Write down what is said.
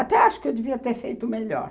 Até acho que eu devia ter feito melhor.